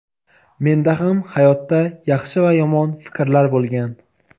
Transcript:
Menda ham hayotda yaxshi va yomon fikrlar bo‘lgan.